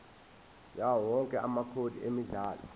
yawowonke amacode emidlalo